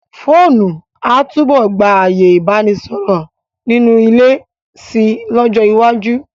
Fóònù a túbọ̀ gba ààyè Ìbánisọ̀rọ̀ nínú ilé si lọ́jọ́ iwájú.